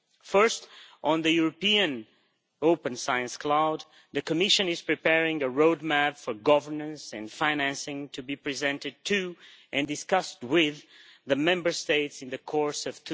First, on the European Open Science Cloud the Commission is preparing a roadmap for governance and financing to be presented to, and discussed with, the Member States in the course of